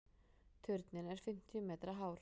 Turninn er fimmtíu metra hár.